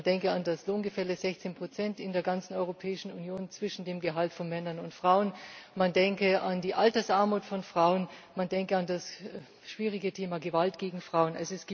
Man denke an das Lohngefälle 16 in der ganzen Europäischen Union zwischen den Gehältern von Männern und Frauen man denke an die Altersarmut von Frauen, man denke an das schwierige Thema Gewalt gegen Frauen.